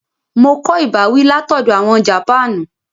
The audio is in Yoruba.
Mo kọ ìbáwí látoọ̀dọ̀ àwọn ará Japanu